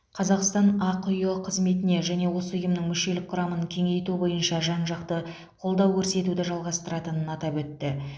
қазақстан ақиұ қызметіне және осы ұйымның мүшелік құрамын кеңейту бойынша жан жақты қолдау көрсетуді жалғастыратынын атап өтті